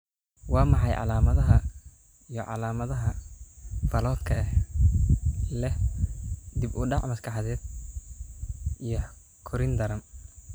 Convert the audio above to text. Waa maxay calaamadaha iyo calaamadaha Falot-ka ee leh dib u dhac maskaxeed iyo korriin daran?